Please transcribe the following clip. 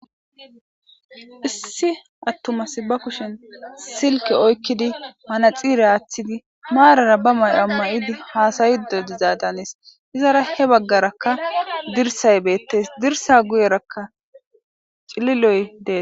Issi attuma asi ba kushen silke oykkidi manaxiire aaththidi maarara ba mayo mayidi haasa'idi de'izaada hanes. Izappe he baggarakka dirsay beettes. Dirsa guyerakka cililoy dees.